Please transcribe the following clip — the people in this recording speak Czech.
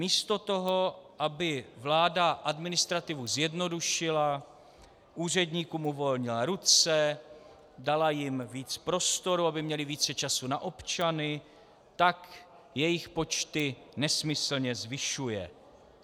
Místo toho, aby vláda administrativu zjednodušila, úředníkům uvolnila ruce, dala jim víc prostoru, aby měli více času na občany, tak jejich počty nesmyslně zvyšuje.